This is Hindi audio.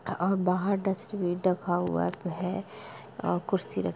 और बाहर डस्टबिन रखा हुआ है और कुर्सी रखी --